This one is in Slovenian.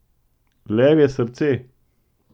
Levje srce!